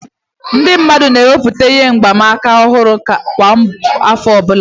Ndị mmadụ ga na-emepụta ihe mgbanaka ọhụrụ kwa afọ obula